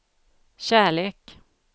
kärlek